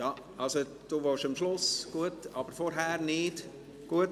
– Ja … Also: Du willst am Schluss sprechen, aber nicht jetzt.